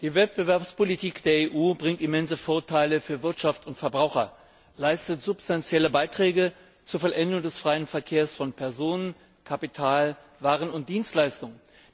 Die Wettbewerbspolitik der EU bringt immense Vorteile für Wirtschaft und Verbraucher, leistet substanzielle Beiträge zur Vollendung des freien Verkehrs von Personen, Kapital, Waren und Dienstleistungen.